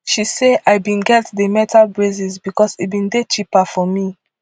she say i bin get di metal braces becos e bin dey cheaper for me